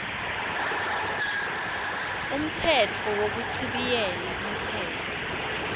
umtsetfo wekuchibiyela umtsetfo